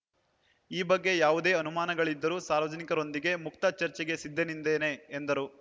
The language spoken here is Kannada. ಈ ಬಗ್ಗೆ ಯಾವುದೇ ಅನುಮಾನಗಳಿದ್ದರೂ ಸಾರ್ವಜನಿಕರೊಂದಿಗೆ ಮುಕ್ತ ಚರ್ಚೆಗೆ ಸಿದ್ದನಿದ್ದೇನೆ ಎಂದರು